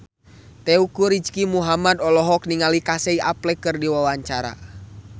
Teuku Rizky Muhammad olohok ningali Casey Affleck keur diwawancara